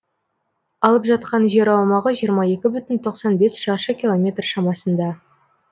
алып жатқан жер аумағы жиырма екі бүтін тоқсан бес шаршы километр шамасында